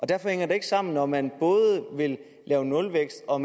derfor hænger det ikke sammen når man både vil have nulvækst og